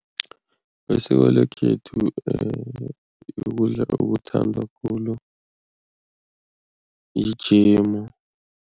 Besiko lekhethu ukudla okuthandwa khulu yijemu.